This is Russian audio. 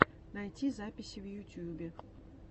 найти записи в ютьюбе